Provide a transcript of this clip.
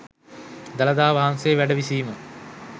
දළදා වහන්සේ වැඩ විසීම